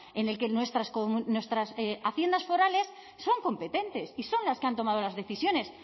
en el que nuestras haciendas forales son competentes y son las que han tomado las decisiones